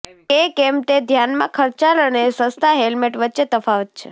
કે કેમ તે ધ્યાનમાં ખર્ચાળ અને સસ્તા હેલ્મેટ વચ્ચે તફાવત છે